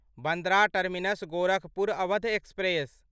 Bandra terminus Gorakhpur Awadh express